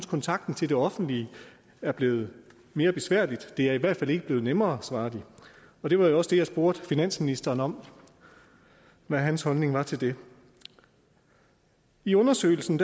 kontakten til det offentlige er blevet mere besværlig det er i hvert fald ikke blevet nemmere svarer de det var også det jeg spurgte finansministeren om og hvad hans holdning var til det i undersøgelsen